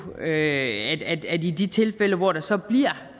på at i de tilfælde hvor der så bliver